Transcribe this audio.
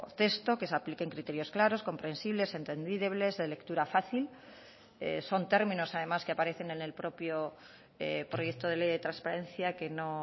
texto que se apliquen criterios claros comprensibles entendibles de lectura fácil son términos además que aparecen en el propio proyecto de ley de transparencia que no